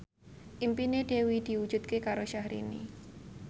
impine Dewi diwujudke karo Syahrini